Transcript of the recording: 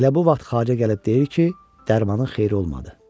Elə bu vaxt xarəcə gəlib deyir ki, dərmanın xeyri olmadı.